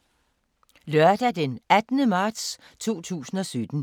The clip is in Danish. Lørdag d. 18. marts 2017